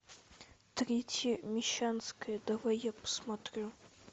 третья мещанская давай я посмотрю